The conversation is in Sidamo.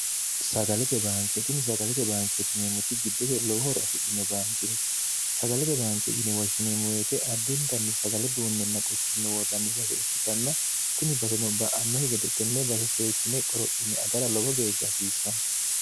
sagalete baankeetinni sagalete baankeetineemmoti giddose lowohoro afidhino baankeeti sagalete baanke yinewoshshineemuweete addintanni sagale duunnenna qochumme worranni base ikkitanna tini baseno ba'anno higede tenne base seekkine qorophine agara lowo geeshsha hasiissanno